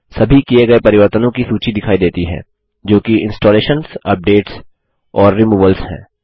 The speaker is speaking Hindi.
सभी किए गए परिवर्तनों की सूची दिखाई देती है जो कि इंस्टॉलेशंस अपडेट्स और रिमूवल्स हैं